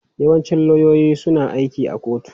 Yawancin lauyoyi suna aiki a kotu.